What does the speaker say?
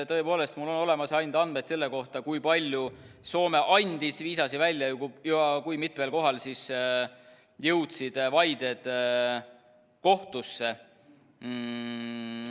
Tõepoolest, mul on olemas ainult andmed selle kohta, kui palju Soome andis viisasid välja ja kui mitmel korral jõudsid vaided kohtusse.